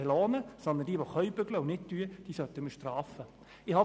Vielmehr sollten wir diejenigen bestrafen, die arbeiten können und es nicht tun.